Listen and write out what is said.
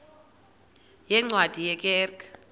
yeencwadi ye kerk